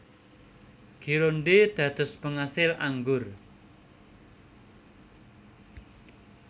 Gironde dados pengasil anggur